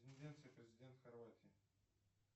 президент хорватии